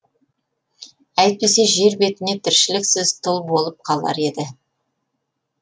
әйтпесе жер бетіне тіршіліксіз тұл болып қалар еді